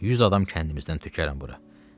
100 adam kəndimizdən tökərəm bura.